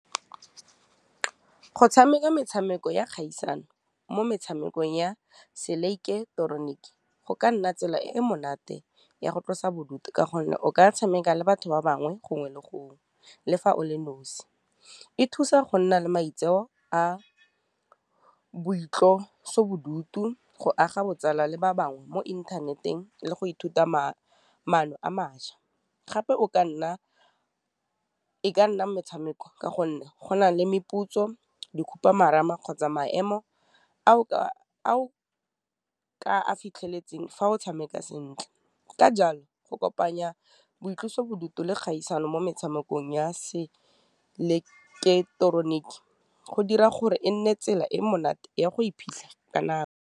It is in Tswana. Go tshameka metshameko ya kgaisano mo metshamekong ya se ileketeroniki, go ka nna tsela e e monate ya go tlosa bodutu ka gonne, o ka tshameka le batho ba bangwe gongwe le gongwe le fa o le nosi. E thusa go nna le maitseo a boitlosobodutu, go aga botsala le ba bangwe mo inthaneteng, le go ithuta maano a maša, gape e ka nna metshameko ka gonne go na le meputso, di khupamarama, kgotsa maemo fitlheletse fa o tshameka sentle, ka jalo go kopanya boitlosobodutu le kgaisano mo metshamekong ya se ileketeroniki go dira gore e nne tsela e monate ya go iphitlha ka nako.